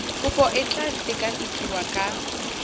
kopo e tla sekasekiwa ka